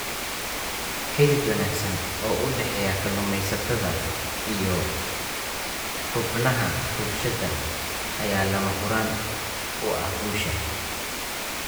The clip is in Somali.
Xidhiidh wanaagsan oo u dhexeeya kalluumaysatada iyo xubnaha bulshada ayaa lama huraan u ah guusha.